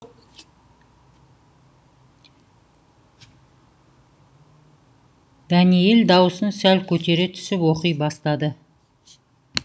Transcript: дәниел даусын сәл көтере түсіп оқи бастады